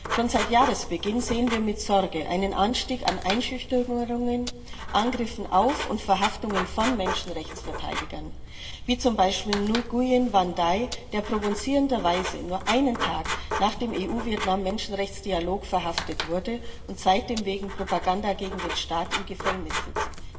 Schon seit Jahresbeginn sehen wir mit Sorge einen Anstieg an Einschüchterungen, Angriffen auf und Verhaftungen von Menschenrechtsverteidigern wie zum Beispiel Nguyen Van Dai, der provozierenderweise nur einen Tag nach dem EU Vietnam Menschenrechtsdialog verhaftet wurde und seitdem wegen Propaganda gegen den Staat im Gefängnis sitzt.